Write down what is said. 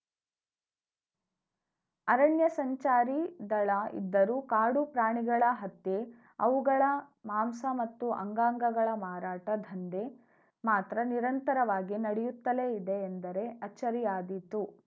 ಅರಣ್ಯ ಸಂಚಾರಿ ದಳ ಇದ್ದರೂ ಕಾಡು ಪ್ರಾಣಿಗಳ ಹತ್ಯೆ ಅವುಗಳ ಮಾಂಸ ಮತ್ತು ಅಂಗಾಂಗಗಳ ಮಾರಾಟ ದಂಧೆ ಮಾತ್ರ ನಿರಂತರವಾಗಿ ನಡೆಯುತ್ತಲೇ ಇದೆ ಎಂದರೆ ಅಚ್ಚರಿಯಾದೀತು